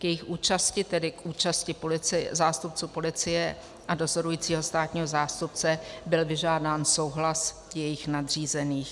K jejich účasti, tedy k účasti zástupců policie a dozorujícího státního zástupce, byl vyžádán souhlas jejich nadřízených.